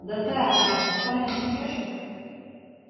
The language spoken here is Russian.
да так он такой насмешник